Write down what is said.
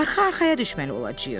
Arxa-arxaya düşməli olacağıq.